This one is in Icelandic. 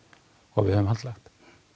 og við höfum haldlagt